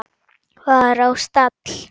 var á stall.